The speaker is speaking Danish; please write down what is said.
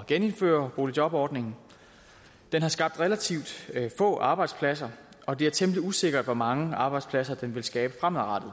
at genindføre boligjobordningen den har skabt relativt få arbejdspladser og det er temmelig usikkert hvor mange arbejdspladser den vil skabe fremadrettet